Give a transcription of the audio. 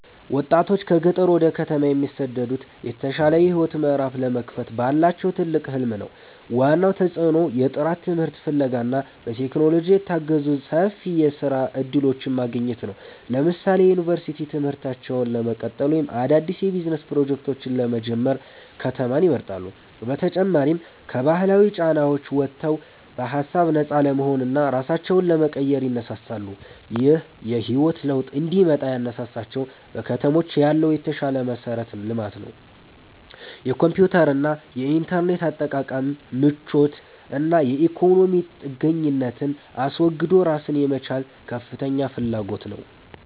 ወጣቶች ከገጠር ወደ ከተማ የሚሰደዱት የተሻለ የህይወት ምዕራፍ ለመክፈት ባላቸው ትልቅ ህልም ነው። ዋናው ተጽዕኖ የጥራት ትምህርት ፍለጋ እና በቴክኖሎጂ የታገዙ ሰፊ የስራ እድሎችን ማግኘት ነው። ለምሳሌ የዩኒቨርሲቲ ትምህርታቸውን ለመቀጠል ወይም አዳዲስ የቢዝነስ ፕሮጀክቶችን ለመጀመር ከተማን ይመርጣሉ። በተጨማሪም ከባህላዊ ጫናዎች ወጥተው በሃሳብ ነፃ ለመሆንና ራሳቸውን ለመቀየር ይነሳሳሉ። ይህ የህይወት ለውጥ እንዲመጣ ያነሳሳቸው በከተሞች ያለው የተሻለ መሠረተ ልማት፣ የኮምፒውተርና የኢንተርኔት አጠቃቀም ምቾት እና የኢኮኖሚ ጥገኝነትን አስወግዶ ራስን የመቻል ከፍተኛ ፍላጎት ነው